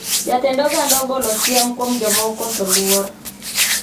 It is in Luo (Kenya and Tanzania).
Jatend oganda ogolo siem kuom joma okoso luor